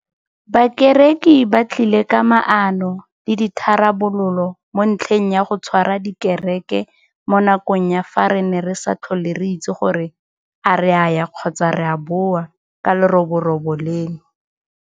Bakereki ba tlile ka maano le ditharabololo mo ntlheng ya go tshwara dikereke mo nakong ya fa re ne re sa tlhole re itse gore a re a ya kgotsa re a boa ka leroborobo leno.